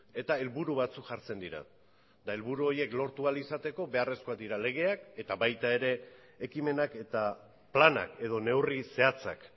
eta helburu batzuk jartzen dira eta helburu horiek lortu ahal izateko beharrezkoak dira legeak eta baita ekimenak eta planak edo neurri zehatzak